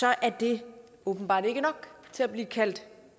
er det åbenbart ikke nok til at blive kaldt